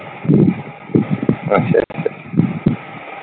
ਅੱਛਾ ਅੱਛਾ।